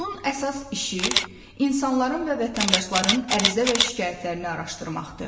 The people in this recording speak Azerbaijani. Onun əsas işi insanların və vətəndaşların ərizə və şikayətlərini araşdırmaqdır.